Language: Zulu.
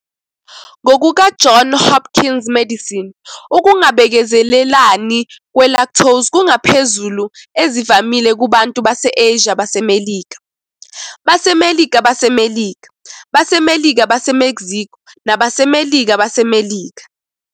"NgokukaJohn Hopkins Medicine, ukungabekezelelani kwe-lactose kungaphezulu ezivamile kubantu base-Asia baseMelika, baseMelika baseMelika, baseMelika baseMexico nabaseMelika baseMelika.